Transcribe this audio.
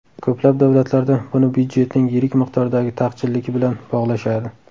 Ko‘plab davlatlarda buni byudjetning yirik miqdordagi taqchilligi bilan bog‘lashadi.